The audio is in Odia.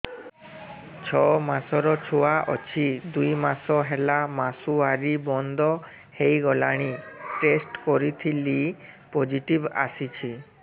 ଛଅ ମାସର ଛୁଆ ଅଛି ଦୁଇ ମାସ ହେଲା ମାସୁଆରି ବନ୍ଦ ହେଇଗଲାଣି ଟେଷ୍ଟ କରିଥିଲି ପୋଜିଟିଭ ଆସିଛି